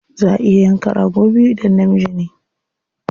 Za a iya yanka rago biyu idan namiji ne.